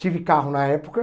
Tive carro na época.